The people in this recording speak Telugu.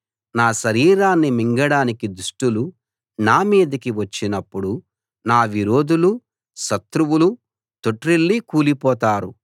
నా శరీరాన్ని మింగడానికి దుష్టులు నా మీదకి వచ్చినప్పుడు నా విరోధులూ శత్రువులూ తొట్రిల్లి కూలిపోతారు